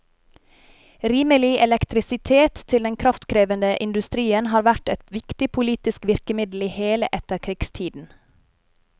Rimelig elektrisitet til den kraftkrevende industrien har vært et viktig politisk virkemiddel i hele etterkrigstiden.